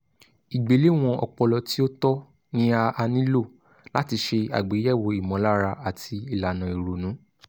ìgbéléwọ̀n ọpọlọ tí ó tọ́ ni a a nílò láti ṣe àgbéyẹ̀wò ìmọ̀lára àti ìlànà ìrònú